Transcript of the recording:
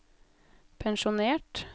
pensjonert